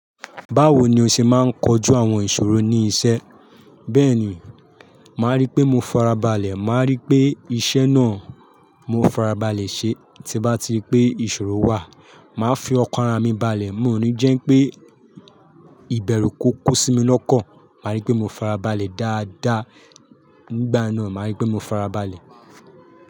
Báwo ni o ṣe máa ń kojú àwọn ìṣòro ní iṣẹ́? Bẹ́ẹ̀ni, màá rí pé mo farabalẹ̀, màá rí pé iṣẹ́ náà mo farabalẹ̀ ṣe. Tí n bá ti rí pé ìṣòro wà, màá fi ọkàn ará mi balẹ̀. Mi ò ní jẹ́ n pé ìbẹ̀rú kò kú sí mi lọ́kàn. Màá rí pé mo farabalẹ̀ dáadáa. Nígbà náà, màá rí pé mo farabalẹ̀.